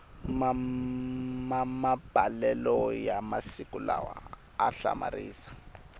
mamabalelo ya masiku lawa a hlamarisa